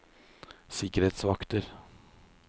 sikkerhetsvakter